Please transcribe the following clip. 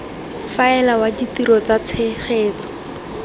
faela wa ditiro tsa tshegetso